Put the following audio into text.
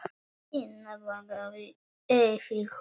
Tinna bograði yfir honum.